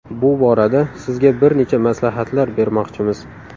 Bu borada sizga bir necha maslahatlar bermoqchimiz.